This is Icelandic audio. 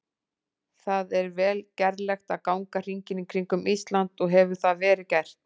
Það er vel gerlegt að ganga hringinn í kringum Ísland og hefur það verið gert.